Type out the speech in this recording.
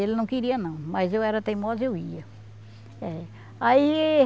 Ele não queria não, mas eu era teimosa e eu ia. É, aí